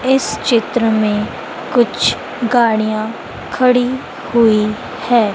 इस चित्र में कुछ गाड़ियां खड़ी हुई है।